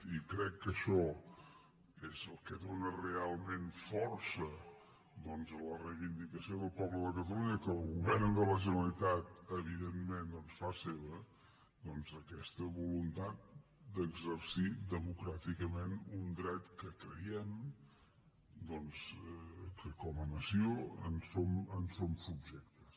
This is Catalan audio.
i crec que això és el que dóna realment força a la reivindicació del poble de catalunya que el govern de la generalitat evidentment fa seva aquesta voluntat d’exercir democràticament un dret que creiem doncs que com a nació en som subjectes